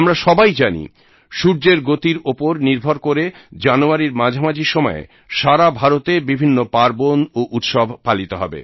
আমরা সবাই জানি সূর্যর গতির উপর নির্ভর করে জানুয়ারীর মাঝামাঝি সময়ে সারা ভারতে বিভিন্ন পার্বণ ও উৎসব পালিত হবে